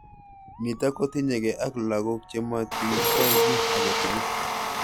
Nitok kotinyekei ak lakok chematikwai ki age tugul.